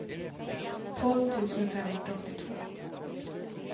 tolv tusen femhundraåttiotvå